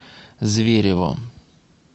зверево